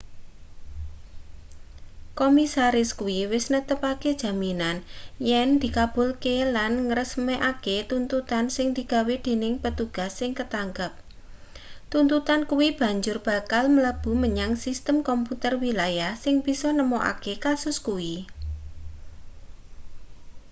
komisaris kuwi wis netepake jaminan yen dikabulke lan ngresmekake tuntutan sing digawe dening petugas sing katangkep tuntutan kuwi banjur bakal mlebu menyang sistem komputer wilayah sing bisa nemokake kasus kuwi